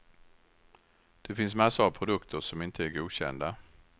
Det finns massor av produkter som inte är godkända.